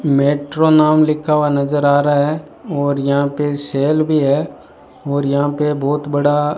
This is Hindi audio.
मेट्रो नाम लिखा हुआ नजर आ रहा है और यहां पे सेल भी है और यहां पे बहुत बड़ा --